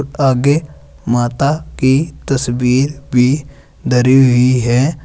आगे माता की तस्वीर भी धरी हुई है।